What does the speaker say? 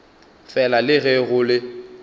fela le ge go le